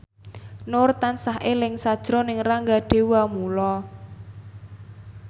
Nur tansah eling sakjroning Rangga Dewamoela